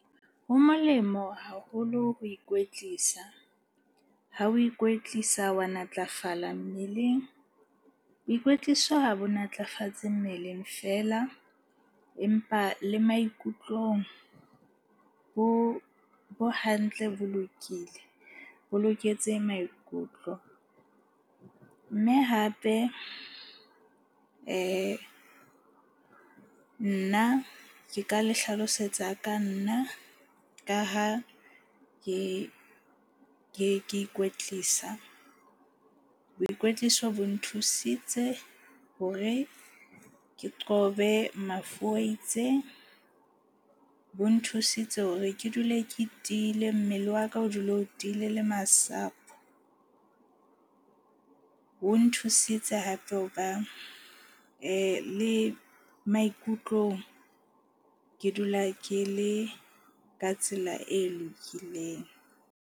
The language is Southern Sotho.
Ho molemo haholo ho ikwetlisa. Ha o ikwetlisa wa natlafala mmeleng. Boikwetliso ha bo natlafatse mmeleng feela, empa le maikutlong bo hantle, bo lokile. Bo loketse maikutlo mme hape nna ke ka le hlalosetsa ka nna ka ha ke ikwetlisa. Boikwetliso bo nthusitse hore ke qobe mafu a itseng. Bo nthusitse hore ke dule ke tiile, mmele wa ka o dule o tiile le masapo. O nthusitse hape ho ba le maikutlong ke dula ke le ka tsela e lokileng.